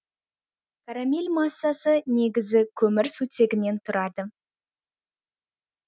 карамель массасы негізі көмір сутегінен тұрады